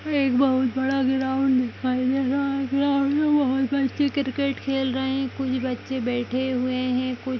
एक बहोत बड़ा ग्राउंड दिखाई दे रहा है यहाँ पे बहोत बच्चे क्रिकेट खेल रहे हैं कुछ बच्चे बेठे हुए हैं कुछ --